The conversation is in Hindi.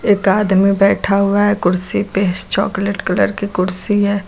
एक आदमी बैठा हुआ है कुर्सी पे चॉकलेट कलर की कुर्सी है।